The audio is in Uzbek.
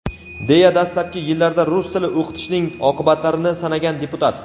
deya dastlabki yillarda rus tili o‘qitishning oqibatlarini sanagan deputat.